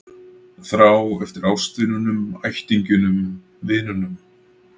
Þrá eftir ástvinunum, ættingjunum, vinunum.